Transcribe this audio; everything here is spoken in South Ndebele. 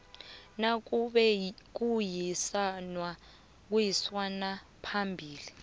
nakube kuyisanwa phambili